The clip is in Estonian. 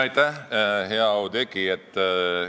Aitäh, hea Oudekki!